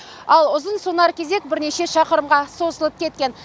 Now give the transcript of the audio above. ал ұзынсонар кезек бірнеше шақырымға созылып кеткен